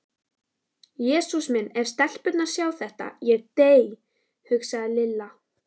Jesús minn ef stelpurnar sjá þetta, ég dey. hugsaði Lilla.